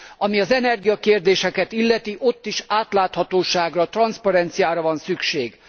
Ami az energiakérdéseket illeti, ott is átláthatóságra, transzparenciára van szükség.